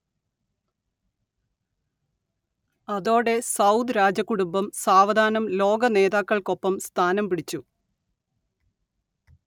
അതോടെ സൗദ് രാജകുടുംബം സാവധാനം ലോക നേതാക്കൾക്കൊപ്പം സ്ഥാനം പിടിച്ചു